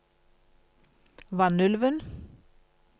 Vanylven